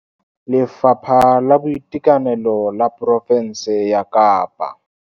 Lefapha la Boitekanelo la porofense ya Kapa.